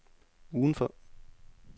udenfor